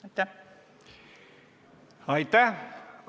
Aitäh!